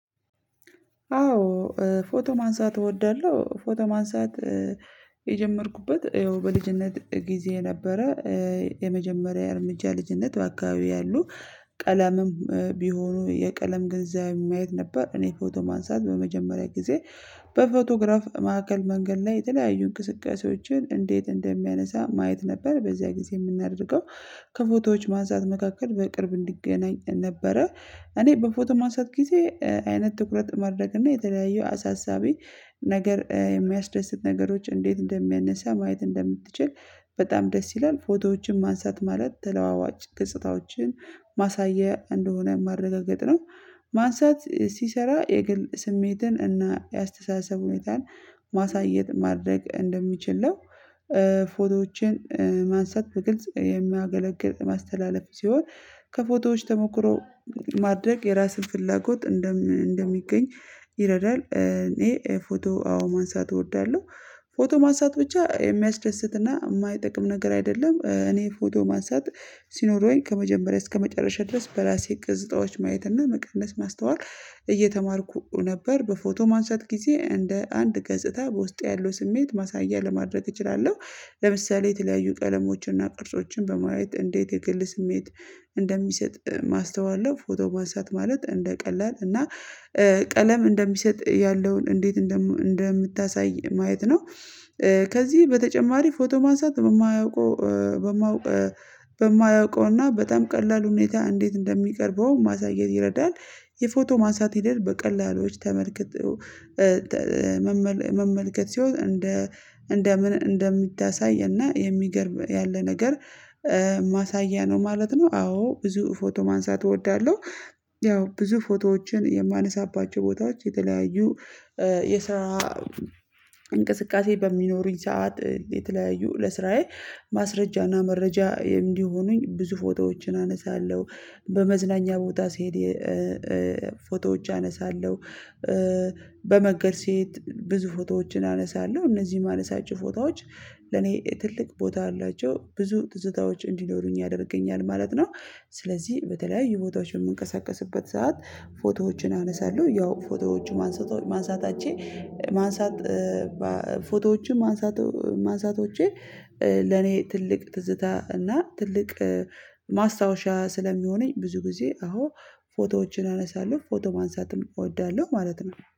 አዎ ፎቶ ማንሳት እወዳለሁ ፎቶ ማንሳት የጀመርኩበት ይኸው በልጅነት ጊዜ ነበረ የመጀመሪያ የእርምጃ ልጅነት በአካባቢው ያሉ ቀለምም ቢሆኑ የቀለም ገንዘብ ማየት ነበር እኔ ፎቶ ማንሳት በመጀመሪያ ጊዜ በፎቶግራፍ ማዕከል መንገድ ላይ የተለያዩ እንቅስቃሴዎችን እንዴት እንደሚያነሳ ማየት ነበር በዚያ ጊዜ የምናደርገው ከፎቶዎች ማንሳት መካከል በቅርብ እንዲገናኝ ነበረ እኔ በፎቶ ማንሳት ጊዜ አይነት ትኩረት ማድረግ እና የተለያየ አሳሳቢ ነገር የሚያስደስት ነገሮች እንዴት እንደሚያነሳ ማየት እንደምትችል በጣም ደስ ይላል ፎቶዎችን ማንሳት ማለት ተለዋዋጭ ገጽታዎችን ማሳያ እንደሆነ ማረጋገጥ ነው ማንሳት ሲሰራ የግል ስሜትን እና የአስተሳሰብ ሁኔታን ማሳየት ማድረግ እንደሚችል ነው ፎቶዎችን ማንሳት በግልጽ የሚያገለግል ማስተላለፍ ሲሆን ከፎቶዎች ተሞክሮ ማድረግ የራስን ፍላጎት እንደሚገኝ ይረዳል እኔ ፎቶ አዎ ማንሳት እወዳለሁ ፎቶ ማንሳት ብቻ የሚያስደስትና የማይጠቅም ነገር አይደለም እኔ ፎቶ ማንሳት ሲኖረውኝ ከመጀመሪያ እስከመጨረሻ ድረስ በራሴ እቅዝታዎች እና መቀነስ ማስተዋል እየተማርኩ ነበር በፎቶ ማንሳት ጊዜ እንደ አንድ ገጽታ በውስጤ ያለው ስሜት ማሳያ ለማድረግ እችላለሁ፤ ለምሳሌ የተለያዩ ቀለሞችን እና ቅርጾችን በማየት እንዴት የግል ስሜት እንደሚሰጥ ማስተዋል ነው ፎቶ ማንሳት ማለት እንደ ቀላል እና ቀለም እንደሚሰጥ ያለውን እንዴት እንደምታሳይ ማየት ነው፤ ከዚህ በተጨማሪ ፎቶ ማንሳት በማያውቀው በማያውቀውና በጣም ቀላል ሁኔታ እንዴት እንደሚቀርበው ማሳየት ይረዳል የፎቶ ማንሳት ሂደት በቀላሉዎች ተመልክቶ መመልከት ሲሆን እንደ እንደምን እንደምታሳይ እና የሚገርም ያለ ነገር ማሳያ ነው ማለት ነው አዎ ብዙ ፎቶ ማንሳት እወዳለሁ ያው ብዙ ፎቶዎችን የማነሳባቸው ቦታዎች የተለያዩ የስራ እንቅስቃሴ በሚኖሩኝ ሰዓት የተለያዩ ለስራዬ ማስረጃና መረጃ እንዲሆኑኝ ብዙ ፎቶዎችን አነሳለሁ፤ በመዝናኛ ቦታ ስሄድ ፎቶዎች አነሳለሁ በመንገድ ሴት ብዙ ፎቶዎችን አነሳለሁ እነዚህ የማነሳቸው ፎቶዎች ለኔ ትልቅ ቦታ አላቸው ብዙ ትዝታዎች እንዲኖሩኝ ያደርገኛል ማለት ነው ስለዚህ በተለያዩ ቦታዎች በምንቀሳቀስበት ሰዓት ፎቶዎችን አነሳለሁ ያው ፎቶዎችን ማንሳታችን ማንሳት ፎቶዎችም ማንሳቶቼ ለኔ ትልቅ ትዝታ እና ትልቅ ማስታወሻ ስለሚሆነኝ ብዙ ጊዜ አዎ ፎቶዎችን አነሳለሁ ፎቶ ማንሳትም እወዳለሁ ማለት ነው።